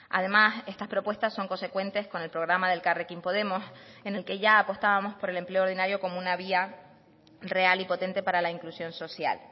además estas propuestas son consecuentes con el programa de elkarrekin podemos en el que ya apostábamos por el empleo ordinario como una vía real y potente para la inclusión social